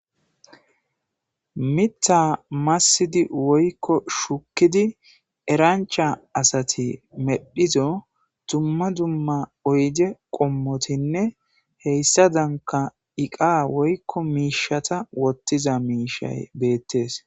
Miththa massidi woykko shukidi erancha assathi medhizo dumma dumma oydde qommothine heyssadankka iqqa woykko mishatha wottiza mishayi bethess.